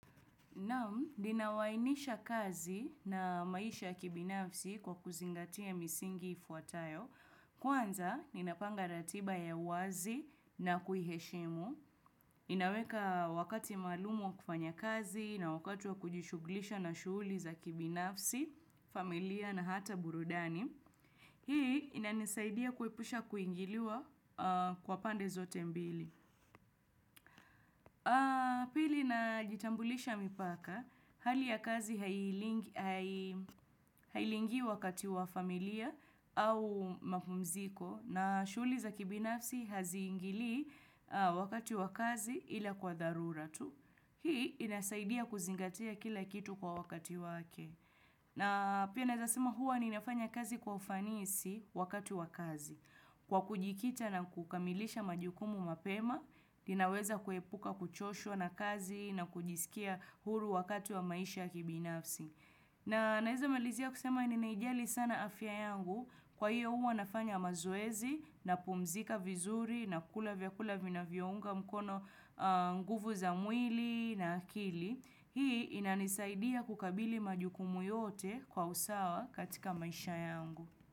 Naam, ninawainisha kazi na maisha ya kibinafsi kwa kuzingatia misingi ifuatayo. Kwanza, ninapanga ratiba ya wazi na kuiheshimu. Inaweka wakati maalumu wa kufanya kazi na wakati wa kujishughulisha na shughuli za kibinafsi, familia na hata burudani. Hii, inanisaidia kuwepusha kuingiliwa kwa pande zote mbili. Pili najitambulisha mipaka, hali ya kazi hailingi wakati wa familia au mapumziko na shughuli za kibinafsi hazingili wakati wa kazi ila kwa dharura tu. Hii inasaidia kuzingatia kila kitu kwa wakati wake. Na pia nazasema huwa ninafanya kazi kwa ufanisi wakati wa kazi. Kwa kujikita na kukamilisha majukumu mapema, ninaweza kuepuka kuchosho na kazi na kujisikia huru wakati wa maisha kibinafsi. Na naeza malizia kusema ninaijali sana afya yangu kwa hiyo hua nafanya mazoezi na pumzika vizuri na kula vyakula vinavyounga mkono nguvu za mwili na akili. Hii inanisaidia kukabili majukumu yote kwa usawa katika maisha yangu.